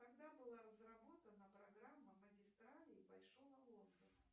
когда была разработана программа магистралей большого лондона